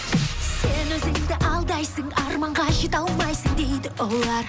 сен өзіңді алдайсың арманға жете алмайсың дейді олар